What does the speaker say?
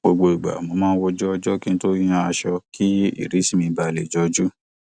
gbogbo ìgbà mo ń wo ojú ọjọ kí n tó yan aṣọ kí ìrísí mi ba lẹ jọjú